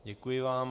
Děkuji vám.